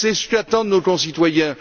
C'est ce qu'attendent nos concitoyens.